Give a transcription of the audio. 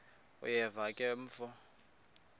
uyeva ke mfo